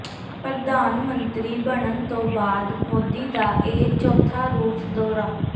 ਪ੍ਰਧਾਨ ਮੰਤਰੀ ਬਣਨ ਤੋਂ ਬਾਅਦ ਮੋਦੀ ਦਾ ਇਹ ਚੌਥਾ ਰੂਸ ਦੌਰਾ